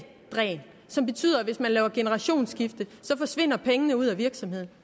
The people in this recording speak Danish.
som betyder at hvis man laver generationsskifte forsvinder pengene ud af virksomheden